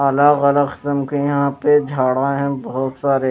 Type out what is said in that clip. अलग अलग के झाड़ा रहे है बहुत सारे।